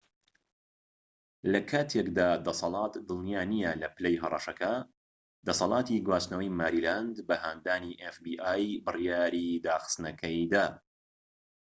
لە کاتێکدا دەسەڵات دڵنیا نیە لە پلەی هەڕەشەکە دەسەڵاتی گواستنەوەی ماریلاند بە هاندانی ئێف بی ئای بڕیاری داخستنەکەی دا